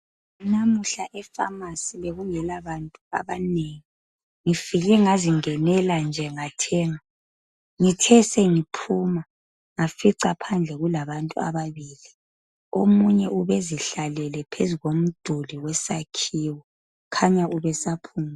Namuhla efamasi bekungela bantu abanengi ngifike ngazingenela nje ngathenga ngithe sengi phuma ngafica phandle kula bantu ababili omunye ubezihla lele phezu komduli wesakhiwo kukhanya ubesa phumula